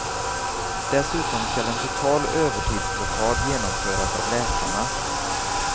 Dessutom skall en total övertidsblockad genomföras av läkarna.